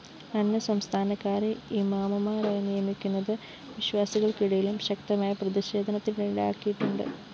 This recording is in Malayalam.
അന്യസംസ്ഥാനക്കാരെ ഇമാമുമാരായി നിയമിക്കുന്നത്‌ വിശ്വാസികള്‍ക്കിടയിലും ശക്തമായ പ്രതിഷേധത്തിനിടയാക്കിയിട്ടുണ്ട്‌